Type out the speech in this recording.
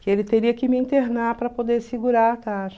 que ele teria que me internar para poder segurar a taxa.